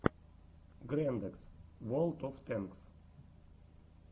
грэндэкс волд оф тэнкс